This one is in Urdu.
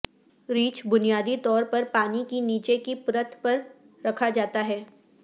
ریچھ بنیادی طور پر پانی کی نیچے کی پرت میں رکھا جاتا ہے